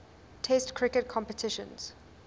test cricket competitions